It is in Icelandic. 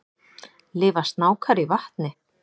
Lifa snákar í vatni?